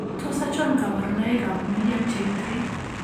Tos achon kabarunaik ab Medium chain 3?